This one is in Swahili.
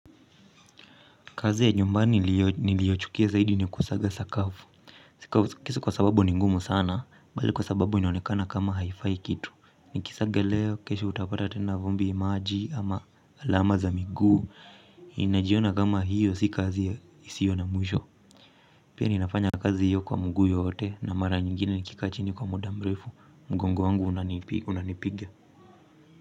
Kazi ya nyumbani niliochukia zaidi ni kusaga sakafu si kwa sababu ni ngumu sana bali kwa sababu inaonekana kama haifai kitu nikisaga leo kesho utapata tena vumbi maji ama alama za miguu. Inajiona kama hiyo si kazi isiyo na mwisho. Pia ninafanya kazi hiyo kwa mguu yote na mara nyingine nikikaa chini kwa muda mrefu mgongo wangu unanipiga.